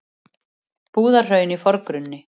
Búðahraun í forgrunni.